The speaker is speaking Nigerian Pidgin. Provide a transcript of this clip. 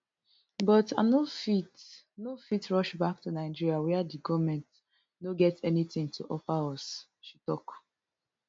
but i no fit no fit rush back to nigeria wia di goment no get anytin to offer us she tok